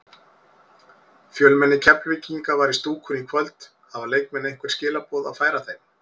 Fjölmenni Keflvíkinga var í stúkunni í kvöld, hafa leikmenn einhver skilaboð að færa þeim?